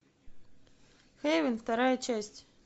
хейвен вторая часть